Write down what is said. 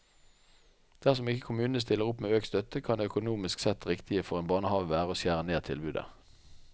Dersom ikke kommunene stiller opp med økt støtte, kan det økonomisk sett riktige for en barnehave være å skjære ned tilbudet.